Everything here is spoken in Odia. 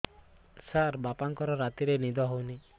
ସାର ବାପାଙ୍କର ରାତିରେ ନିଦ ହଉନି